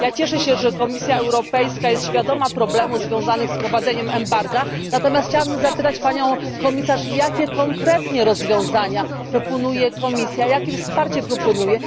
Cieszę się, że Komisja Europejska jest świadoma problemów związanych z wprowadzeniem embarga, natomiast chciałabym zapytać Panią Komisarz, jakie konkretnie rozwiązania proponuje Komisja, jakie wsparcie proponuje?